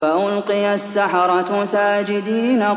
فَأُلْقِيَ السَّحَرَةُ سَاجِدِينَ